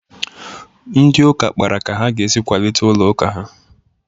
Ndị ụka kpara ka ha ga-esi kwalite ụlọ ụka ha.